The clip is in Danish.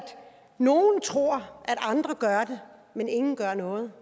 nogle tror at andre gør det men ingen gør noget